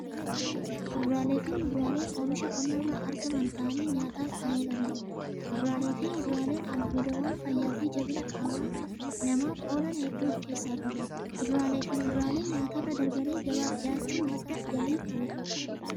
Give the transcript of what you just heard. Kuduraaleefi muduraaleen oomisha qonnarraa argaman ta'anii nyaataaf kan oolaniidha. Kuduraaleefi muduraaleen albuudawwan fayyaafi jabina qama namaaf oolan hedduu of keessaa qabu. Kuduraaleefi muduraaleen nyaatarra darbanii gabaaf dhiyaachuun madda galiif oolu.